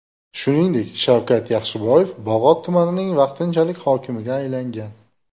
Shuningdek, Shavkat Yaxshiboyev Bog‘ot tumanining vaqtinchalik hokimiga aylangan .